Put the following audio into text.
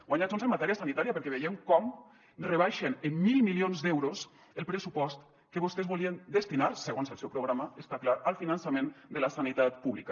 guanya junts en matèria sanitària perquè veiem com rebaixen en mil milions d’euros el pressupost que vostès volien destinar segons el seu programa està clar al finançament de la sanitat pública